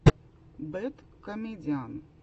бэд комедиан